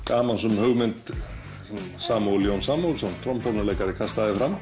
gamansöm hugmynd Samúels Jóns Samúelssonar